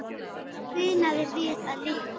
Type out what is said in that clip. Það munaði víða litlu.